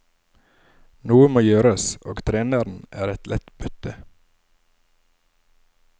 Noe må gjøres og treneren er et lett bytte.